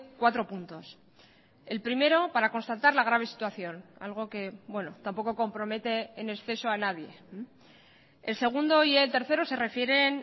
cuatro puntos el primero para constatar la grave situación algo que tampoco compromete en exceso a nadie el segundo y el tercero se refieren